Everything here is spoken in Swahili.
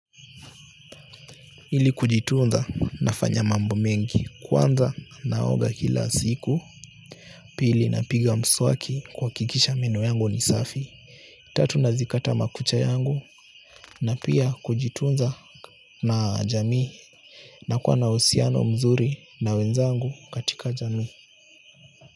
Ili kujitunza nafanya mambo mengi kwanza naoga kila siku pili napiga mswaki kuhakikisha meno yangu ni safi tatu nazikata makucha yangu na pia kujitunza na jami nakuwa na uhusiano mzuri na wenzangu katika jamii.